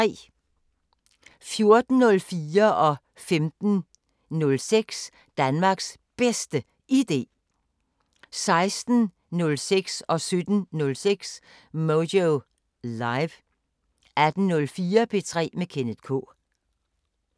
14:04: Danmarks Bedste Idé 15:06: Danmarks Bedste Idé 16:06: Moyo Live 17:06: Moyo Live 18:04: P3 med Kenneth K